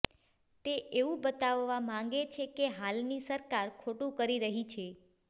તે એવું બતાવવા માંગે છે કે હાલની સરકાર ખોટું કરી રહી છે